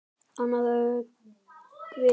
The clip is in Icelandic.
Annað öngvit